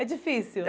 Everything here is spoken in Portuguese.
É difícil.